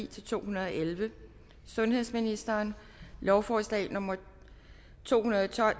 to hundrede og elleve sundhedsministeren lovforslag nummer l to hundrede og tolv